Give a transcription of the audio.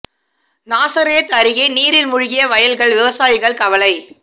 நாசரேத் அருகே நீரில் மூழ்கிய வயல்கள் விவசாயிகள் கவலை